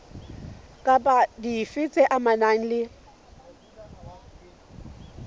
kapa dife tse amanang le